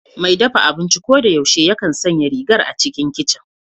Mai dafa abinci ko da yaushe yakan sanya rigar a cikin kicin